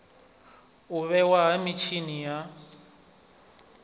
u vhewa ha mitshini ya